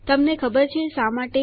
તમને ખબર છે શા માટે